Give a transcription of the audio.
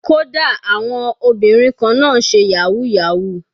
Kódà àwọn obìnrin kan náà ń ṣe yahoo yahoo.